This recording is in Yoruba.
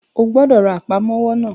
O gbọ́dọ̀ ra Àpámọ́wọ́ náà!